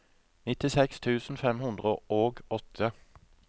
nittiseks tusen fem hundre og åtte